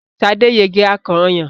Sade yege akàn ọyàn.